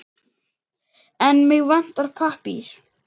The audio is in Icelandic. En mig vantar pappír.